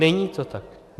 Není to tak.